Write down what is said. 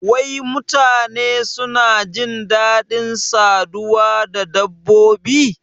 Wai mutane suna jin dadin saduwa da dabbobi?